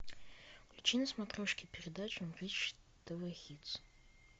включи на смотрешке передачу бридж тв хитс